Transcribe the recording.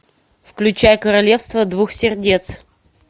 включай королевство двух сердец